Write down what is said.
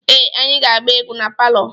Ee, anyị ga-agba egwu na palọ.